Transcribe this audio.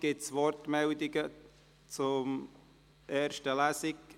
Gibt es Wortmeldungen zur ersten Lesung?